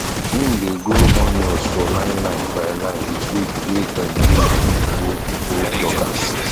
im dae grow onions for lineline by line with wood wae dem use do old old lockers